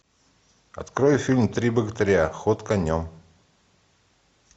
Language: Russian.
открой фильм три богатыря ход конем